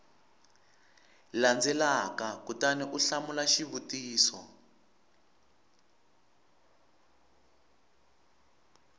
landzelaka kutani u hlamula xivutiso